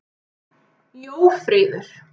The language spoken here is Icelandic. Jófríður